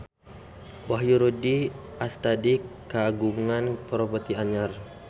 Wahyu Rudi Astadi kagungan properti anyar